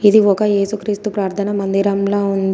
ఇది ఒక ఏసుక్రీస్తు ప్రార్ధన మందిరంలా ఉంది.